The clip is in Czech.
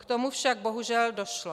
K tomu však bohužel došlo.